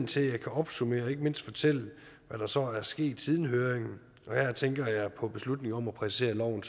til at jeg kan opsummere og ikke mindst fortælle hvad der så er sket siden høringen og her tænker jeg på beslutningen om at præcisere loven